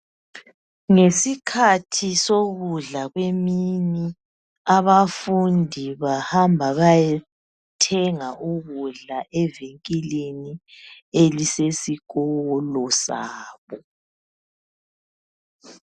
Ngesikhathi sokudla kwemini abafundi bahamba bayethenga ukudla evinkilini elisesikolo sabo.